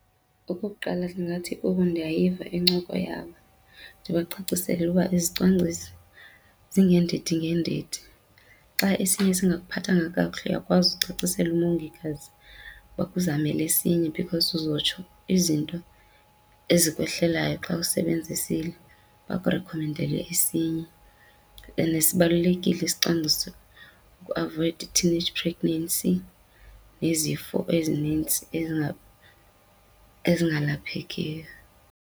Okokuqala, ndingathi kubo ndiyayiva incoko yabo ndibacacisele uba izicwangciso zingeendidi ngeendidi. Xa esinye singakuphathanga kakuhle uyakwazi ukucacisela umongikazi akuzamele esinye, because uzotsho izinto ezikwehlelayo xa usebenzisile, bakurikhomendele esinye. And sibalulekile isicwangciso ukuavoyida i-teenage pregnancy nezifo ezinintsi ezingalaphekiyo.